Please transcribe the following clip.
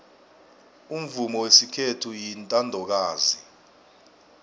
umvumo wesikhethu uyintandokazi